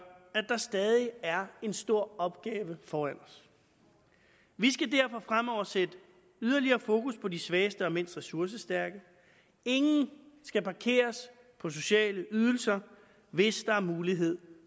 at der stadig er en stor opgave foran os vi skal derfor fremover sætte yderligere fokus på de svageste og mindst ressourcestærke ingen skal parkeres på sociale ydelser hvis der er mulighed